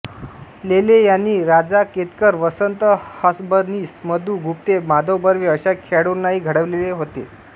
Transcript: लेले यांनी राजा केतकर वसंत हसबनीस मधु गुप्ते माधव बर्वे अशा खेळाडूंनाही घडविलेले होते